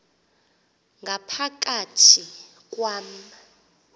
ngapha kathi kwam